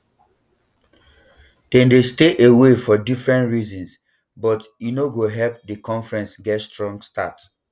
dem dey stay um away for different reasons but um e no go help di conference get strong start